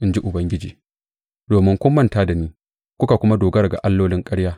in ji Ubangiji domin kun manta da ni kuka kuma dogara ga allolin ƙarya.